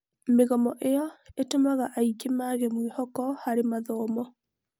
Mĩgomo ĩyo ĩtũmaga aingĩ mage mwĩhoko harĩ mathomo.